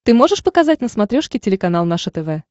ты можешь показать на смотрешке телеканал наше тв